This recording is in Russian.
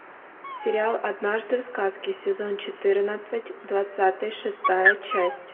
сериал однажды в сказке сезон четырнадцать двадцатый шестая часть